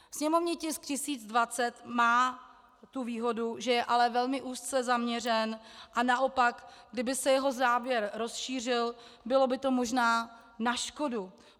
Sněmovní tisk 1020 má tu výhodu, že je ale velmi úzce zaměřen, a naopak, kdyby se jeho závěr rozšířil, bylo by to možná na škodu.